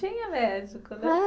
Tinha médico, né? É